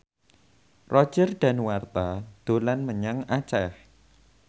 Roger Danuarta dolan menyang Aceh